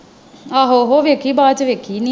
ਆਹੋ ਓਹੋ ਵੇਖੀ ਬਾਅਦ ਚ ਵੇਖੀ ਨਹੀਂ ਮੈਂ।